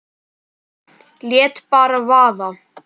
Lét bara vaða.